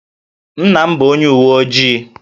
Nna m bụ onye uwe ojii